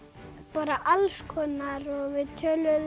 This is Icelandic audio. bara alls konar og við töluðum